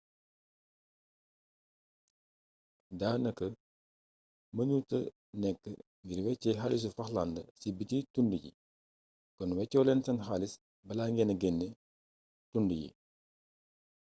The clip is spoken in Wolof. daanaka mënuta nekk ngir wéecee xaalisu falklands ci biti dun yi kon weccoo leen seen xaalis bala ngeena genn dun yi